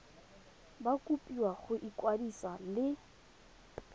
ba kopiwa go ikwadisa le